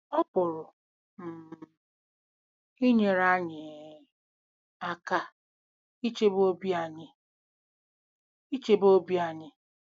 Ọ pụrụ um inyere anyị um aka ichebe obi anyị. ichebe obi anyị.